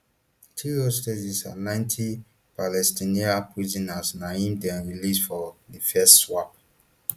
three hostages and ninety palestinian prisoners na im dem release for di first swap